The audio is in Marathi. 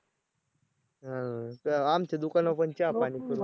हां आमच्या दुकानावर पण चहापाणी करू.